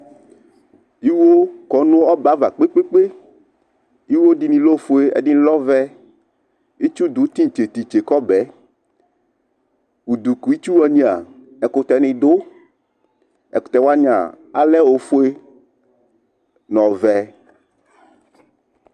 Iwo kɔnu ɔbɛava kpekpee kpe Iwo dini le ofue edini lɛ ɔvɛ Itsu du kitse kitse kɔbɛ Udu kitsuwania ɛkutɛ du Ɛdini alɛ ofue n'ɔvɛ